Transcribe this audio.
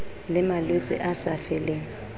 le malwetse a sa feleng